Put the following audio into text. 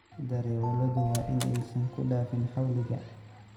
Darewaladu waa in aysan ku dhaafin xawliga.